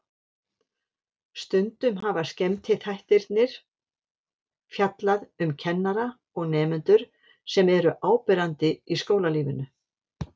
Stundum hafa skemmtiþættirnir fjallað um kennara og nemendur sem eru áberandi í skólalífinu.